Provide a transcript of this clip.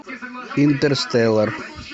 интерстеллар